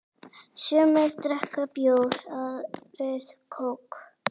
Sumir drekka bjór, aðrir kók.